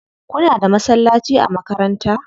Kuna da masallaci a makaranta?